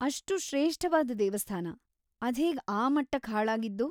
ಅಷ್ಟು ಶ್ರೇಷ್ಠವಾದ್ ದೇವಸ್ಥಾನ ಅದ್ಹೇಗ್‌ ಆ‌ ಮಟ್ಟಕ್ಕ್‌ ಹಾಳಾಗಿದ್ದು?